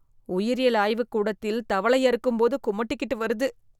உயிரியல் ஆய்வு கூடத்தில் தவளை அறுக்கும் போது குமட்டிக்கிட்டு வருது.